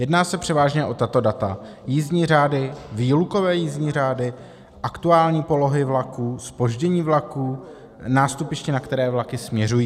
Jedná se převážně o tato data: jízdní řády, výlukové jízdní řády, aktuální polohy vlaků, zpoždění vlaků, nástupiště, na které vlaky směřují.